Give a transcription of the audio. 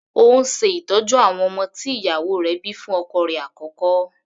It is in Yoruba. Ó ń ṣe ìtọ́jú àwọn ọmọ tí ìyàwó rẹ̀ bíi fún ọkọ rẹ̀ àkọ́kọ́.